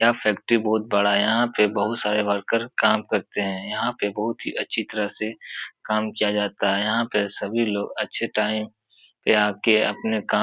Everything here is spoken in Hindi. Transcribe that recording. यह फैक्टरी बहोत बड़ा है। यहाँ पे बहोत सारे वर्कर काम करते हैं। यहाँ पे बहोत ही अच्छी तरह से काम किया जाता है। यहाँ पे सभी लोग अच्छे टाइम पे आके अपने काम --